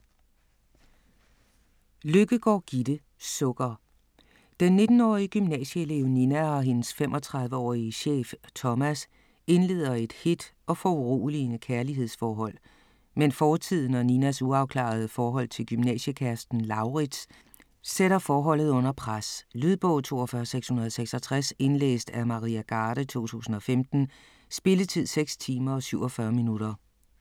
Løkkegaard, Gitte: Sukker Den 19-årige gymnasieelev Nina og hendes 35-årige chef, Thomas, indleder et hedt og foruroligende kærlighedsforhold, men fortiden, og Ninas uafklarede forhold til gymnasiekæresten Lauritz, sætter forholdet under pres. Lydbog 42666 Indlæst af Maria Garde, 2015. Spilletid: 6 timer, 47 minutter.